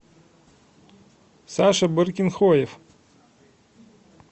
саша баркинхоев